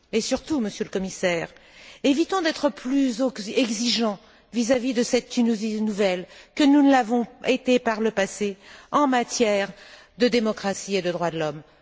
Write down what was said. Et, surtout, Monsieur le Commissaire, évitons d'être plus exigeants vis à vis de cette Tunisie nouvelle que nous ne l'avons été par le passé en matière de démocratie et de droits de l'homme.